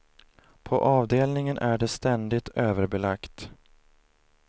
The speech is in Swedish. På avdelningen är det ständigt överbelagt.